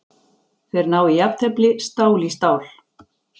Þeir ná í jafntefli, stál í stál.